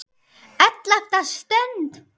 ELLEFTA STUND